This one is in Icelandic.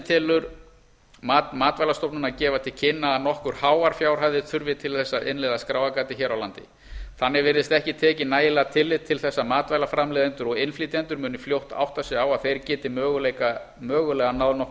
telur mat matvælastofnunar gefa til kynna að nokkuð háar fjárhæðir þurfi til að innleiða skráargatið hér á landi þannig virðist ekki tekið nægilegt tillit til þess að matvælaframleiðendur og innflytjendur munu fljótt átta sig á að þeir geti mögulega náð nokkru